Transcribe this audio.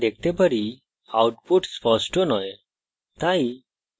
যেমনকি আমরা দেখতে পারি output স্পষ্ট নয়